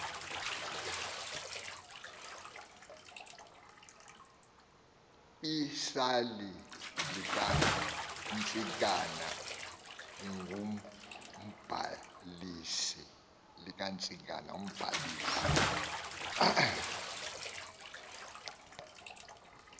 isali likantsikana ngumbalisi